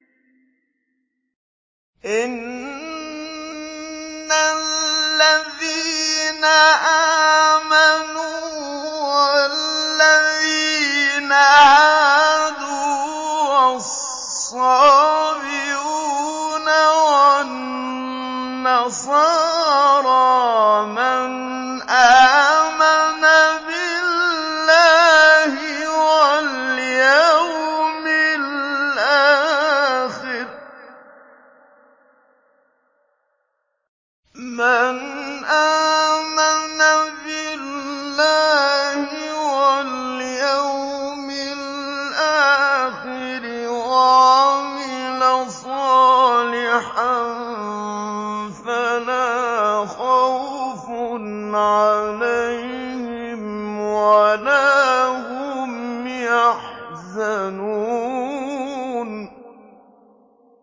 إِنَّ الَّذِينَ آمَنُوا وَالَّذِينَ هَادُوا وَالصَّابِئُونَ وَالنَّصَارَىٰ مَنْ آمَنَ بِاللَّهِ وَالْيَوْمِ الْآخِرِ وَعَمِلَ صَالِحًا فَلَا خَوْفٌ عَلَيْهِمْ وَلَا هُمْ يَحْزَنُونَ